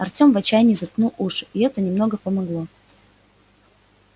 артём в отчаянии заткнул уши и это немного помогло